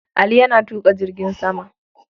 Ali yana tuƙa jirgin sama.